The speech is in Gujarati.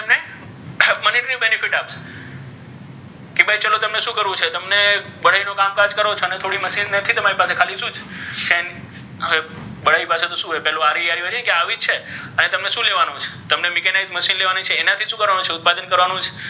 કે ભાઇ ચલો તમને શુ કરવુ છે તમને બઢાઇ નુ કામકાજ કરો છો અને થોડી મશીન નથી તમારી પાસે ખાલી શુ છે બઢાઇ પાસે તો શુ હોય પેલુ હોય ને કે આવી છે અને શુ લેવાનુ છે તમને મીકેનાઇ મશીન લેવાનુ છે ઍમનાથી કરવાનુ શુ ઉત્પાદન કરવાનુ છે.